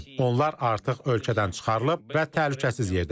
Onlar artıq ölkədən çıxarılıb və təhlükəsiz yerdədirlər.